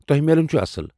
تۄہہ میلُن چُھ اصل ۔